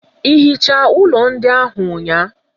Ị hichaa ụlọ ndị ahụ ụnyaahụ?